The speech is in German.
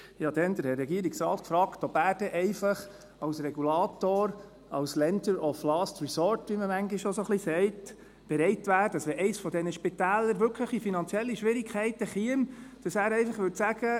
Ich fragte damals den Herrn Regierungsrat, ob er denn als Regulator, als «lender of last resort», wie man manchmal auch sagt, bereit wäre, wenn eines dieser Spitäler wirklich in finanzielle Schwierigkeiten käme, einfach zu sagen: